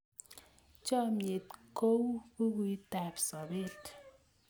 Chomnyet kou bukuitab sobeet.